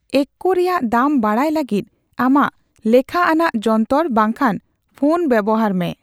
ᱮᱠᱠ ᱨᱮᱭᱟᱜ ᱫᱟᱢ ᱵᱟᱲᱟᱭ ᱞᱟᱹᱜᱤᱫ ᱟᱢᱟᱜ ᱞᱮᱠᱷᱟᱟᱱᱟᱜ ᱡᱚᱱᱛᱚᱨ ᱵᱟᱝᱠᱷᱟᱱ ᱯᱷᱳᱱ ᱵᱮᱵᱦᱟᱨ ᱢᱮ ᱾